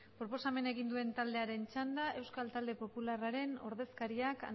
proposamena egin duen taldearen txanda euskal talde popularraren ordezkariak